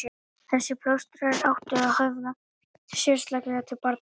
Þessir plástrar áttu að höfða sérstaklega til barna.